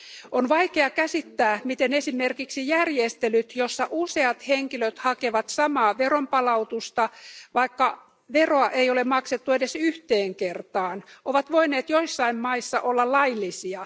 On vaikea käsittää, miten esimerkiksi järjestelyt, joissa useat henkilöt hakevat samaa veronpalautusta, vaikka veroa ei ole maksettu edes yhteen kertaan, ovat voineet joissain maissa olla laillisia.